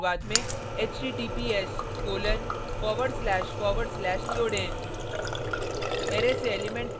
नये अरै के शुरुआत में https:// जोडें